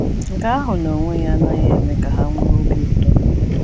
Nke ahụ n’onwe ya anaghị eme ka ha nwee obi ụtọ.